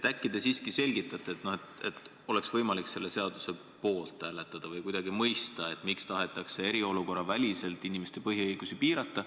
Äkki te siiski selgitate – et oleks võimalik selle seaduse poolt hääletada – ja aitate mõista, miks tahetakse eriolukorraväliselt inimeste põhiõigusi piirata.